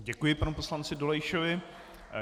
Děkuji panu poslanci Dolejšovi.